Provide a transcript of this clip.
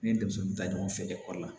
N ye denmisɛnnin ta ɲɔgɔn fɛ ekɔli la